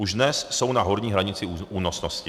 Už dnes jsou na horní hranici únosnosti.